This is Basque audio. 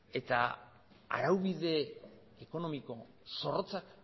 eta araubide ekonomiko zorrotzak